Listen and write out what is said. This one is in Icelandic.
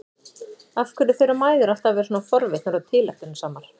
Af hverju þurfa mæður alltaf að vera svona forvitnar og tilætlunarsamar?